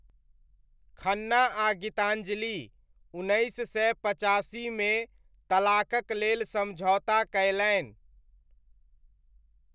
खन्ना आ गीताञ्जलि उन्नैस सय पचासीमे तलाककलेल समझौता कयलनि।